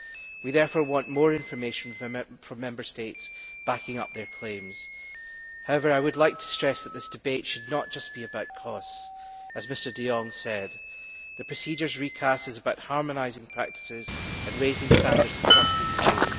We therefore want more information from Member States backing up their claims. However, I would like to stress that this debate should not just be about costs. As Mr de Jong said, the procedures recast is about harmonising practices and raising standards across the EU.